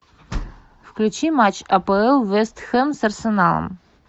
включи матч апл вэст хем с арсеналом